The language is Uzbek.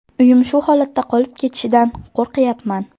Uyim shu holatda qolib ketishidan qo‘rqyapman.